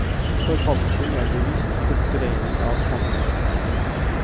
Forfalskning er bevisst fordreining av sannheten.